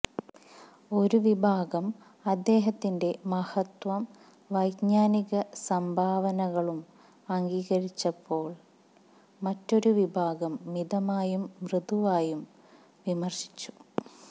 ഒരു വിഭാഗം അദ്ദേഹത്തിന്റെ മഹത്വവും വൈജ്ഞാനിക സംഭാവനകളും അംഗീകരിച്ചപ്പോള് മറ്റൊരു വിഭാഗം മിതമായും മൃദുവായും വിമര്ശിച്ചു